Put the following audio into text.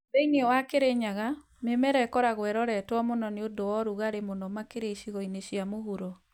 Thĩĩnĩ wa Kirinyaga, mĩmera ĩkoragwo ĩroretwo mũno nĩ ũndũ wa ũrugarĩ mũno makĩria icigo-inĩ cia mũhuro.